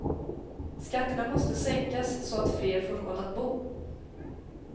Skatterna måste sänkas så att fler får råd att bo.